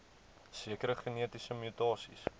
sekere genetiese mutasies